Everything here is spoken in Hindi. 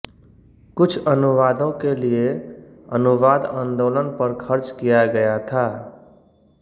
कुछ अनुवादों के लिए अनुवाद आंदोलन पर खर्च किया गया था